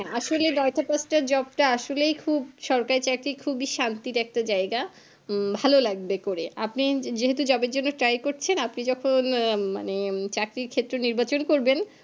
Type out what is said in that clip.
আসলে . Job টা আসলেই খুব সরকারি চাকরি খুবই শান্তির একটা জায়গা ভালো লাগবে করে আপনি যেহেতু Job এর জন্য try করছেনআপনি যখন মানে চাকরির ক্ষেত্র নির্বাচন করবেন